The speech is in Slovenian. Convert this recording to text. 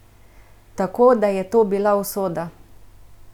Tako da je to bila usoda!